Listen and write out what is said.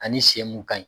Ani sen mun ka ɲi